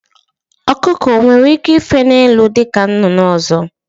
Ọkụkọ onwere ike ife n'elu dịka nnụnụ ndị ọzọ?